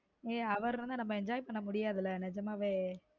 ஏய் அவர் இருந்தா நம்ம enjoy பண்ண முடியாதுல நிஜமாவே